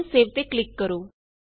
ਹੁਣ ਸੇਵ ਤੇ ਕਲਿਕ ਕਰੋ